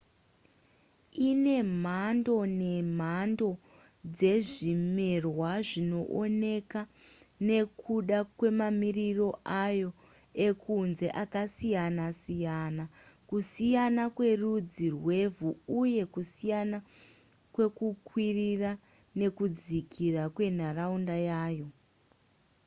ine mhando nemhando dzezvimerwa zvinooneka nekuda kwemamiriro ayo ekunze akasiyana-siyana kusiyana kwerudzi rwevhu uye kusiyana kwekukwirira nekudzikira kwenharaunda yayo